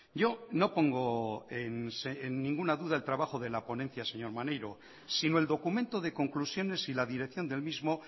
yo no pongo en ninguna duda el trabajo de la ponencia señor maneiro sino el documento de conclusiones y la dirección del mismo